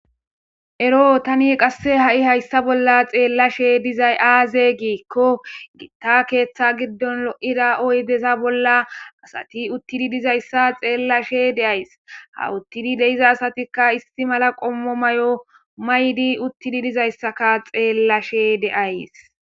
ero tani qasse ha'i hayssa bolla xeellashe dizay aaze giikko gitta keeththa giddon lo'ida oydeza bolla asati uttidi dizayssa xeellashe deays ha uttidi deiza asatikka isti mala qommo mayo maydi uttidi dizayssaka xeellashe de'ays